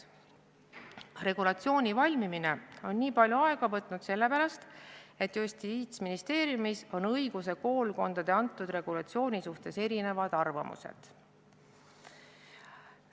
Regulatsiooni valmimine on nii palju aega võtnud sellepärast, et Justiitsministeeriumis on õiguskoolkondadel antud regulatsiooni suhtes erinevad arvamused.